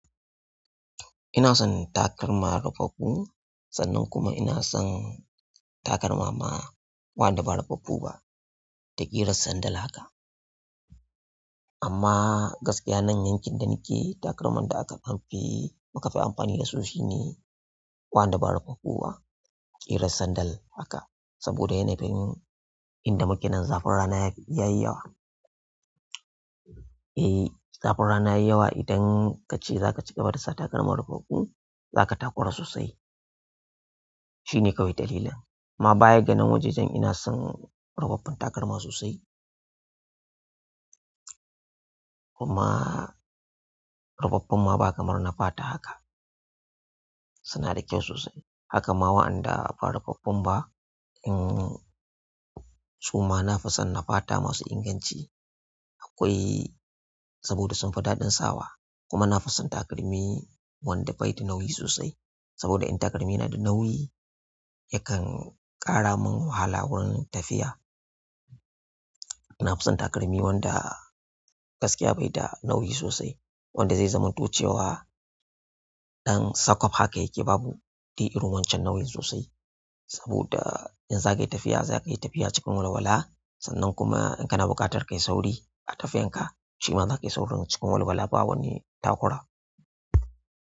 Inason takalma rufaffu sannan kuma inason takalmana waɗanda ba rufaffu ba da irin sandal haka amma gaskiya nan yankin da muke takalman da aka fi muka fi amfani dasu wandanda ba rufaffu ba ƙirar sandal haka saboda yana yin inda muke nan zafin rana yafi yayi yawa. Eh zafin rana yayi yawa idan kace zaka cigaba da sa takalma rufaffu za ka takura sosai shine kawai dalilin. Amma baya ganan wajajen ina son rufaffun takalma sosai. Kuma rufaffun ma ba kamar na fata haka suna da kyau sosai. Haka ma waɗanda ba rufaffun ba in su ma na fi son na fata masu inganci akwai saboda sun fi daɗin sawa. Kuma na fi son takalmi wanda bai da nauyi sosai. Saboda in takalmi na da nauyi yakan ƙara mun wahala wurin tafiya. Na fi son takalmi wanda gaskiya bai da nauyi sosai wanda zai zamanto cewa ɗan sakof haka yake babu. Dai irin wancan nau'in sosai. Saboda in zakayi tafiya zakayi tafiya cikin walwala sannan kuma in kana buƙatar ka yi sauri a tafiyan ka shima za ka yi saurin cikin walwala ba wani takura.